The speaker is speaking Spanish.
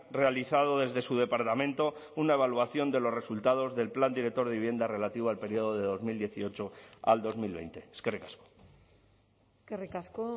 realizado desde su departamento una evaluación de los resultados del plan director de vivienda relativo al periodo de dos mil dieciocho al dos mil veinte eskerrik asko eskerrik asko